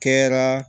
Kɛra